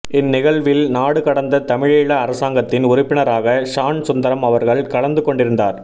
இந் நிகழ்வில் நாடு கடந்த தமிழீழ அரசாங்கத்தின் உறுப்பினரான ஷான் சுந்தரம் அவர்கள் கலந்து கொண்டிருந்தார்